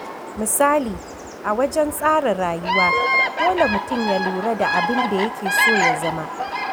Misali, a wajen tsara rayuwa, dole mutum ya lura da abin da yake so ya zama.